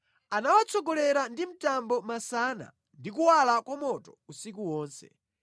Anawatsogolera ndi mtambo masana ndi kuwala kwa moto usiku wonse.